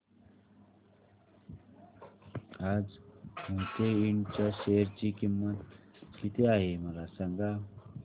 आज मोहिते इंड च्या शेअर ची किंमत किती आहे मला सांगा